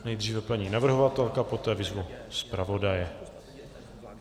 Nejdříve paní navrhovatelka, poté vyzvu zpravodaje.